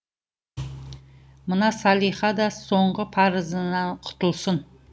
мына салиқа да соңғы парызынан құтылсын